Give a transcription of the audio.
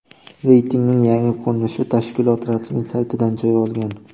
Reytingning yangi ko‘rinishi tashkilot rasmiy saytidan joy olgan .